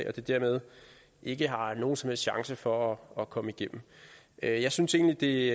at de dermed ikke har nogen som helst chance for at komme igennem jeg jeg synes egentlig